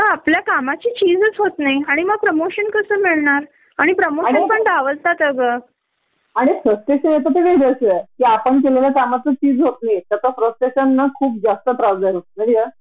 त्यातही किती वेळ मुलांना घेऊन ठेवतील न त्याच्या घरी आणि एखा दुसऱ्यांदा ठीक हे माणुसकी म्हणून मदत पण करतील कदाचित पण दरवेळी अस व्हायला लागल तर सगळाच विषय उघड होऊन बसतो. या पुरषाना कधी कळणार हे?